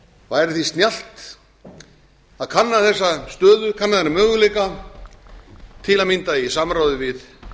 væri því snjallt að kanna þennan möguleika til að mynda í samráði við